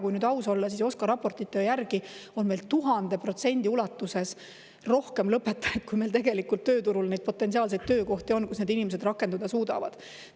Kui aus olla, siis OSKA raportite järgi on meil 1000% ulatuses rohkem lõpetajaid, kui meil tegelikult tööturul on neid potentsiaalseid töökohti, kus neid inimesi rakendada saaks.